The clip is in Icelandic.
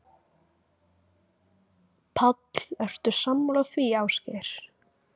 Páll: Ertu sammála því, Ásgeir?